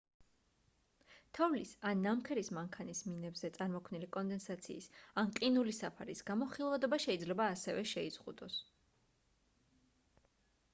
თოვლის ან ნამქერის მანქანის მინებზე წარმოქმნილი კონდენსაციის ან ყინულის საფარის გამო ხილვადობა შეიძლება ასევე შეიზღუდოს